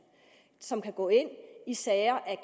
som kan gå ind i sager af